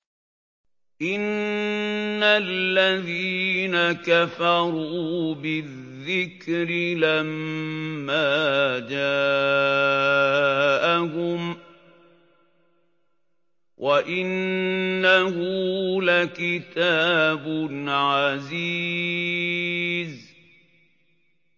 إِنَّ الَّذِينَ كَفَرُوا بِالذِّكْرِ لَمَّا جَاءَهُمْ ۖ وَإِنَّهُ لَكِتَابٌ عَزِيزٌ